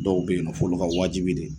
Dɔw beyinɔ f'olu ka wajibi de.